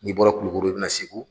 N'i bɔra Kulikoro i bɛ na Segu